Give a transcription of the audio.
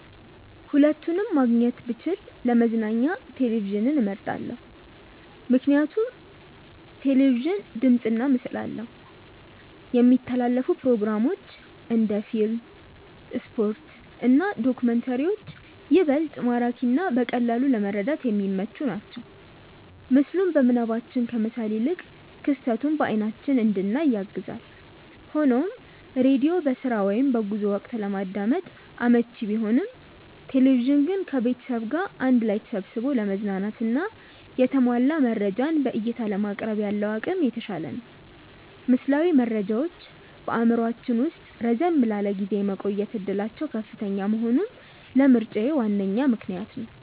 ሁለቱንም ማግኘት ብችል ለመዝናኛ ቴሌቪዥንን መርጣለው። ምክንያቱም ቴሌቪዥን ድምፅና ምስል አለው፣ የሚተላለፉ ፕሮግራሞች (እንደ ፊልም፣ ስፖርት እና ዶክመንተሪዎች) ይበልጥ ማራኪና በቀላሉ ለመረዳት የሚመቹ ናቸው። ምስሉን በምናባችን ከመሳል ይልቅ ክስተቱን በአይናችን እንድናይ ያግዛል። ሆኖም ሬዲዮ በስራ ወይም በጉዞ ወቅት ለማዳመጥ አመቺ ቢሆንም፣ ቴሌቪዥን ግን ከቤተሰብ ጋር አንድ ላይ ተሰብስቦ ለመዝናናትና የተሟላ መረጃን በዕይታ ለማቅረብ ያለው አቅም የተሻለ ነው። ምስላዊ መረጃዎች በአእምሯችን ውስጥ ረዘም ላለ ጊዜ የመቆየት ዕድላቸው ከፍተኛ መሆኑም ለምርጫዬ ዋነኛ ምክንያት ነው።